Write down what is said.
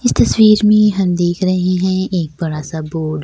इस तस्वीर में हम देख रहे हैं एक बडा सा बोर्ड --